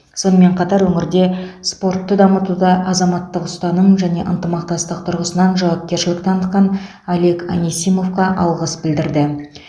сонымен қатар өңірде спортты дамытуда азаматтық ұстаным және ынтымақтастық тұрғысынан жауапкершілік танытқан олег анисимовқа алғыс білдірді